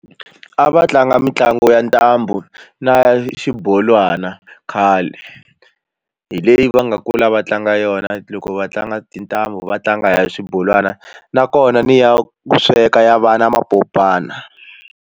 A va tlanga mitlangu ya ntambu na xibolwana khale hi leyi va nga kula va tlanga yona loko va tlanga tintambu va tlanga ya xibolwana nakona ni ya ku sweka ya vana mapopana.